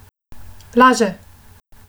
Laže!